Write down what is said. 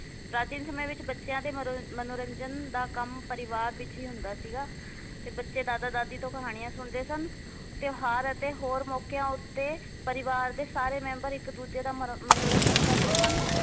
ਪ੍ਰਾਚੀਨ ਸਮੇ ਵਿੱਚ ਬੱਚਿਆਂ ਦੇ ਮਨੋਰੰ ਮਨੋਰੰਜਨ ਦਾ ਕੰਮ ਪਰਿਵਾਰ ਵਿੱਚ ਈ ਹੁੰਦਾ ਸੀਗਾ ਤੇ ਬਚੇ ਦਾਦਾ ਦਾਦੀ ਤੋਂ ਕਹਾਣੀਆਂ ਸੁਣਦੇ ਸਨ ਤਿਓਹਾਰ ਅਤੇ ਹੋਰ ਮੌਕਿਆਂ ਉੱਤੇ ਪਰਿਵਾਰ ਦੇ ਸਾਰੇ ਮੈਂਬਰ ਇੱਕ ਦੂਜੇ ਦਾ ਮਰ ਮਨੋਰੰਜਨ ਕਰਦੇ ਸਨ l